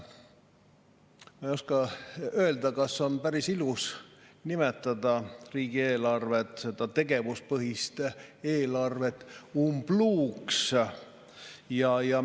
Ma ei oska öelda, kas on päris ilus nimetada riigieelarvet, seda tegevuspõhist eelarvet umbluuks,.